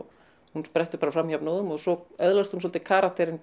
hún sprettur bara fram jafnóðum og svo öðlast hún svolítið karakterinn